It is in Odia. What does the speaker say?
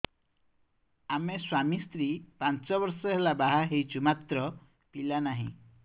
ଆମେ ସ୍ୱାମୀ ସ୍ତ୍ରୀ ପାଞ୍ଚ ବର୍ଷ ହେଲା ବାହା ହେଇଛୁ ମାତ୍ର ପିଲା ନାହିଁ